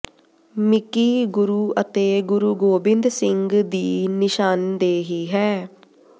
Mickey ਗੁਰੂ ਅਤੇ ਗੁਰੂ ਗੋਬਿੰਦ ਸਿੰਘ ਦੀ ਨਿਸ਼ਾਨਦੇਹੀ ਹੈ